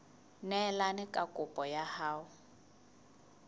neelane ka kopo ya hao